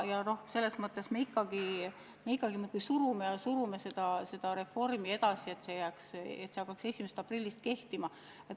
Ometi me ikkagi nagu surume ja surume seda reformi edasi, et see seadus hakkaks 1. aprillil kehtima.